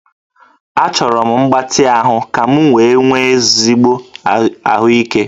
Achọrọ m mgbatị ahụ ka m wee nwee ezigbo ahụike